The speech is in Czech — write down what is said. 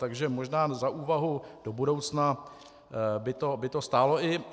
Takže možná za úvahu do budoucna by to stálo.